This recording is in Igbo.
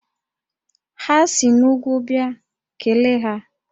Ha si n'úgwú bịa, kelee ha!